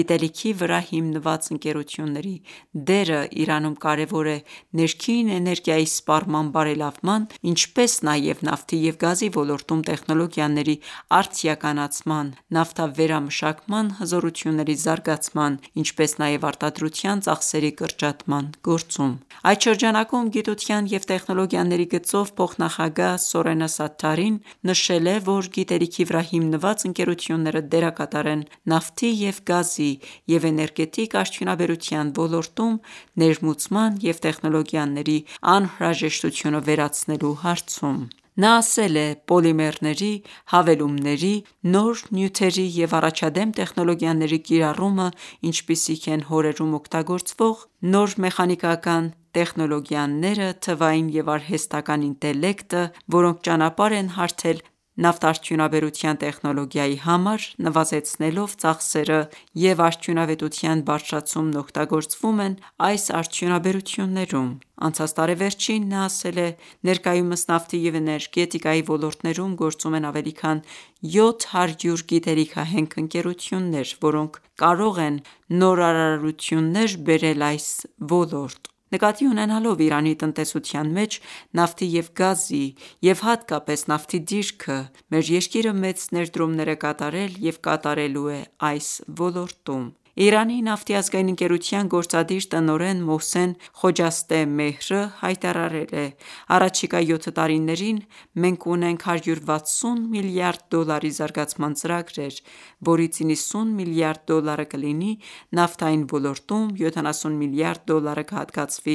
Գիտելիքի վրա հիմնված ընկերությունների դերն Իրանում կարևոր է ներքին էներգիայի սպառման բարելավման, ինչպես նաև նավթի և գազի ոլորտում տեխնոլոգիաների արդիականացման, նավթավերամշակման հզորությունների զարգացման, ինչպես նաև արտադրության ծախսերի կրճատման գործում: Այդ շրջանակում, Գիտության և տեխնոլոգիաների գծով փոխնախագահ Սորենա Սաթարին նշել է, որ գիտելիքի վրա հիմնված ընկերությունները դերակատար են նավթի և գազի և էներգետիկ արդյունաբերության ոլորտում ներմուծման և տեխնոլոգիաների անհրաժեշտությունը վերացնելու հարցում: Նա ասել է. «Պոլիմերների, հավելումների, նոր նյութերի և առաջադեմ տեխնոլոգիաների կիրառումը, ինչպիսիք են հորերում օգտագործվող նոր մեխանիկական տեխնոլոգիաները, թվային և արհեստական ​​ինտելեկտը, որոնք ճանապարհ են հարթել նավթարդյունաբերության տեխնոլոգիայի համար՝ նվազեցնելով ծախսերը և Արդյունավետության բարձրացումն օգտագործվում են այս արդյունաբերություններում։ Անցած տարեվերջին նա ասել է.«Ներկայումս նավթի և էներգետիկայի ոլորտներում գործում են ավելի քան 700 գիտելիքահենք ընկերություններ, որոնք կարող են նորարարություններ բերել այս ոլորտ»։ Նկատի ունենալով Իրանի տնտեսության մեջ նավթի և գազի և հատկապես նավթի դիրքը, մեր երկիրը մեծ ներդրումներ է կատարել և կատարելու է այս ոլորտում: Իրանի նավթի ազգային ընկերության գործադիր տնօրեն Մոհսեն Խոջաստե Մեհրը հայտարարել է.«Առաջիկա յոթ տարիներին մենք ունենք 160 միլիարդ դոլարի զարգացման ծրագրեր, որից 90 միլիարդ դոլարը կլինի նավթային ոլորտում, 70 միլիարդ դոլարը կհատկացվի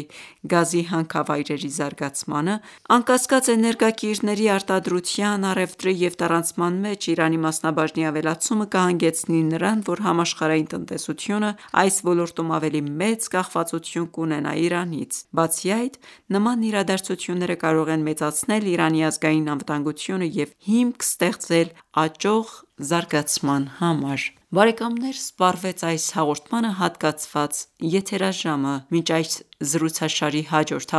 գազի հանքավայրերի զարգացմանը»: Անկասկած, էներգակիրների արտադրության, առևտրի և տարանցման մեջ Իրանի մասնաբաժնի ավելացումը կհանգեցնի նրան, որ համաշխարհային տնտեսությունն այս ոլորտում ավելի մեծ կախվածություն կունենա Իրանից։ Բացի այդ, նման իրադարձությունները կարող են մեծացնել Իրանի ազգային անվտանգությունը և հիմք ստեղծել աճող զարգացման համար: Բարեկամներ սպառվեց այս հաղորդմանը հատկացված եթերաժամը: Մինչ այս զրուցաշարի հաջորդ